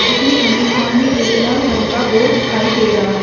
जिसमें हमें सामने एक लाल रंग का बोर्ड दिखाई दे रहा है।